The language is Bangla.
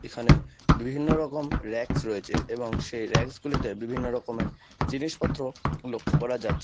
এখানে বিভিন্ন রকম র‍্যাকস রয়েচে এবং সেই র‍্যাকসগুলিতে বিভিন্ন রকমের জিনিসপত্র লক্ষ করা যাচ্ছে।